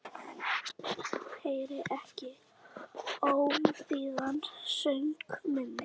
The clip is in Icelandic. Heyrir ekki ómþýðan söng minn.